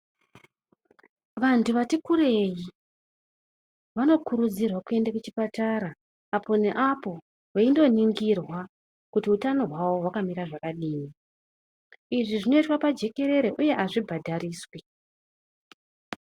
Vantu vari kurei, vanokurudzirwa kuende kuchipatara, apo neapo veindoningirwa, kuti utano hwavo hwakamira zvakadini. Izvi zvinoitwa pajikerere, uye azvibhadhariswi.